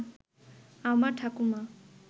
আমার ঠাকুরমা